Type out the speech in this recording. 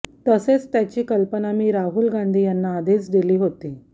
तसेच त्याची कल्पना मी राहुल गांधी यांना आधीच दिली होती